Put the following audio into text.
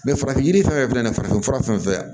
farafin yiri fɛn fɛn na farafin fura fɛn fɛn